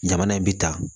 Jamana in bi ta